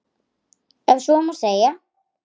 Ef svo má segja.